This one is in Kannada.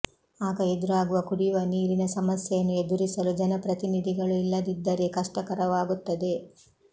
ಆಗ ಎದುರಾಗುವ ಕುಡಿವ ನೀರಿನ ಸಮಸ್ಯೆಯನ್ನು ಎದುರಿಸಲು ಜನಪ್ರತಿನಿಧಿಗಳು ಇಲ್ಲದಿದ್ದರೇ ಕಷ್ಟಕರವಾಗುತ್ತದೆ